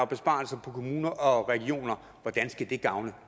besparelser på kommuner og regioner hvordan skal det gavne